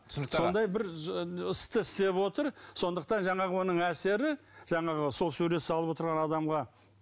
түсінікті аға сондай бір істі істеп отыр сондықтан жаңағы оның әсері жаңағы сол сурет салып отырған адамға